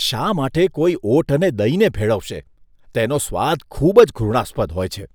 શા માટે કોઈ ઓટ અને દહીંને ભેળવશે? તેનો સ્વાદ ખૂબ જ ઘૃણાસ્પદ હોય છે.